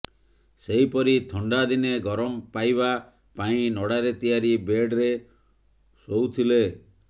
ସେହିପରି ଥଣ୍ଡା ଦିନେ ଗରମ ପାଇବା ପାଇଁ ନଡାରେ ତିଆରି ବେଡରେ ଶୋଅୁଥିଲେ